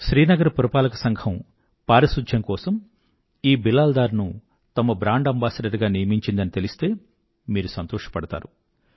శ్రీనగర్ పురపాలక సంఘం పారిశుధ్యం కోసం ఈ బిలాల్ డార్ ను తమ బ్రాండ్ అంబాసిడర్ గా నియమించిందని తెలిస్తే మీరు సంతోషపడతారు